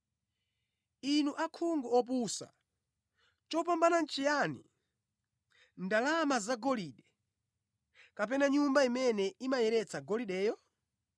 Inu akhungu opusa! Chopambana nʼchiyani: ndalama zagolide, kapena Nyumba imene imayeretsa golideyo?